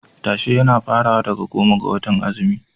Tashe yana farawa daga goma ga watan azumi.